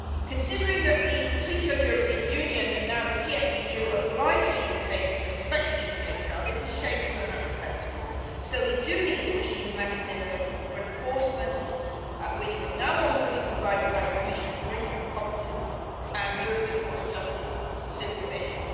Considering that the Treaty on European Union and now the TFEU obliges EU States to respect the ECHR, this is shameful and unacceptable. So we do need an EU mechanism for enforcement which, from now on, will be provided by Commission infringement competence and European Court of Justice supervision.